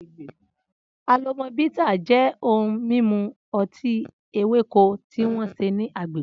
Alomo Bitters jẹ́ ohun mímu ọtí ewéko tí wọ́n ṣe ní agbègbè.